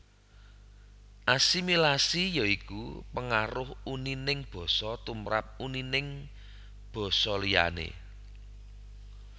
Asimilasi ya iku pengaruh unining basa tumrap unining basa liyané